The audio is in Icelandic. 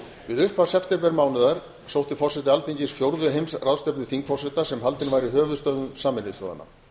við upphaf septembermánaðar sótti forseti alþingis fjórðu heimsráðstefnu þingforseta sem haldin var í höfuðstöðvum sameinuðu þjóðanna